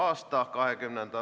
Aitäh!